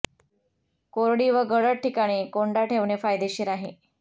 कोरडी व गडद ठिकाणी कोंडा ठेवणे फायदेशीर आहे